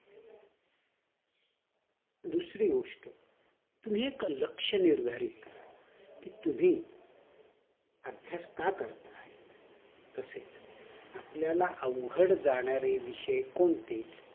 दुसरी गोष्ट तुम्ही एक लक्ष निर्धारित करा कि तुम्ही अभ्यास का करत आहे तसेच आपल्याला अवघड जाणारे विषय कोणते